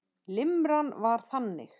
Limran var þannig: